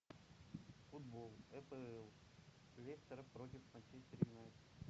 футбол апл лестер против манчестер юнайтед